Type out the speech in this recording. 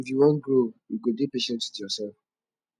if you wan grow you go dey patient wit yoursef